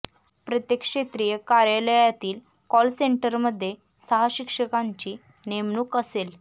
प्रत्येक क्षेत्रीय कार्यालयातील कॉल सेंटरमध्ये सहा शिक्षकांची नेमणूक असेल